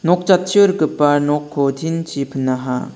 nok jatchio rikgipa nokko tin chi pinaha.